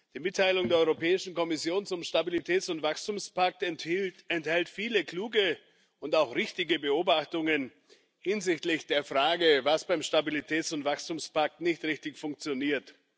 Die Mitteilung der Europäischen Kommission zum Stabilitäts und Wachstumspakt enthält viele kluge und auch richtige Beobachtungen hinsichtlich der Frage, was beim Stabilitäts und Wachstumspakt nicht richtig funktioniert.